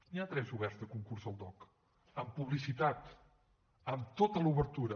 n’hi ha tres oberts de concursos al dogc amb publicitat amb tota l’obertura